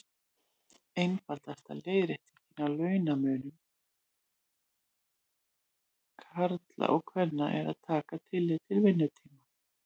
Einfaldasta leiðréttingin á launamun karla og kvenna er að taka tillit til vinnutíma.